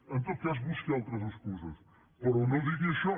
en tot cas busqui altres excuses però no digui això